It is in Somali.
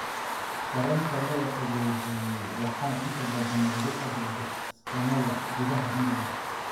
Kareemka la qaboojiyey waxaa inta badan loogu adeegaa iskoonada gudaha England.